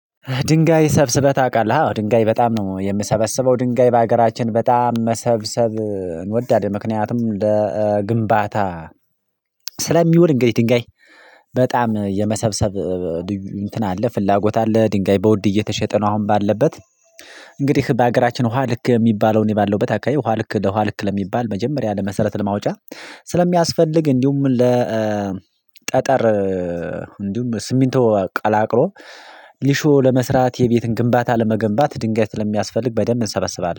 ድንጋይ ሰብስበህ ታውቃለህ? አዎ ድንጋይ በጣም ነው የምሰበስበው ድንጋይ በሀገራችን በጣም መሰብሰብ እንወዳለን ምክንያቱም ለኧ ግንባታ ስለሚውል እንግዲህ ድንጋይ በጣም የመሰብሰብ እንትን አለ ፍላጎት አለ ድንጋይ በውድ እየተሸጠ ነው አሁን ባለበት። እንግዲህ በሀገራችን ውሃ ልክ የሚባለውን እኔ ባለሁበት አካባቢ ውሃ ልክ ለውሃ ልክ ለሚባል መጀመሪያ ለመሰረት ለማውጫ ስለሚያስፈልግ እንዲሁም ለኧ ጠጠር እንዲሁም በስሚንቶ ቀላቅሎ ሊሾ ለመስራት የቤትን ግንባታ ለመገንባት ድንጋይ ስለሚያስፈልግ በደንብ እንሰበስባለን